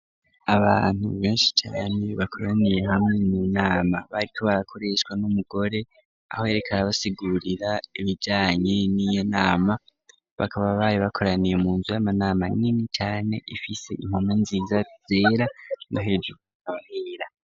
Abantu beshi cane bakoraniye hamwe mu nama bariko barakoreshwa n`umugore aho yariko arabasigurira ibijanye n`inama bakaba bari bakoraniye munzu y`amanama nini cane ifise impome nziza zera no hejuru hakaba hera.